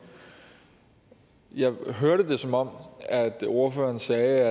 jeg hørte det som om ordføreren sagde